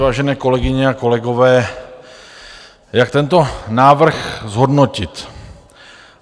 Vážené kolegyně a kolegové, jak tento návrh zhodnotit?